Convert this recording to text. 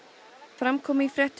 fram kom í fréttum